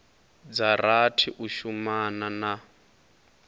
dza rathi u shumana na